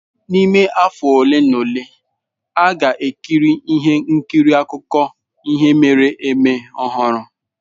N'ime afọ ole na ole, a ga-ekiri ihe nkiri akụkọ ihe mere eme ọhụrụ.